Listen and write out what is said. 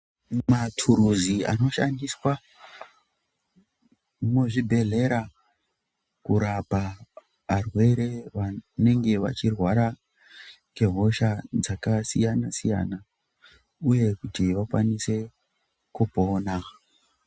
Mathuluzi anoshandiswa muzvibhedhlera kurapa varwere vanenge vachirwara ngehosha dzakasiyana-siyana, uye kuti vakwanise kupona.